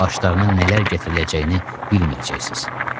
Başlarına nələr gətiriləcəyini bilməyəcəksiniz.